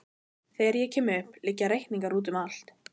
Þegar ég kem upp liggja reikningar úti um allt.